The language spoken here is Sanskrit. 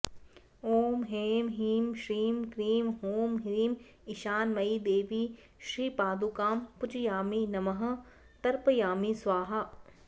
ॐ ऐं ह्रीं श्रीं क्रीं हूं ह्रीं ईशानमयीदेवी श्रीपादुकां पूजयामि नमः तर्पयामि स्वाहा